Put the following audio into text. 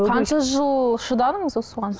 қанша жыл шыдадыңыз осыған